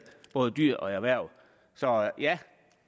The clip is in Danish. både dyr og erhverv så ja